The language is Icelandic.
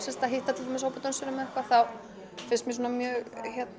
að hitta til dæmis hóp af dönsurum þá finnst mér mjög